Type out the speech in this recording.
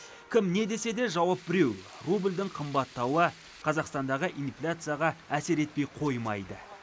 кім не десе де жауап біреу рубльдің қымбаттауы қазақстандағы инфляцияға әсер етпей қоймайды